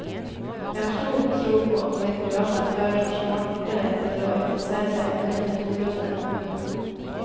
Jeg har stor tro på å få inn private aktører som er smartere til å organisere seg og mindre tungrodde enn kommunen.